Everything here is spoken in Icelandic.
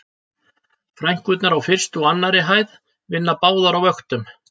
Frænkurnar á fyrstu og annarri hæð vinna báðar á vöktum